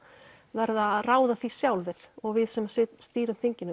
verða að ráða því sjálfir og við sem stýrum þinginu